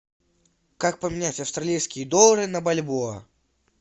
как поменять австралийские доллары на бальбоа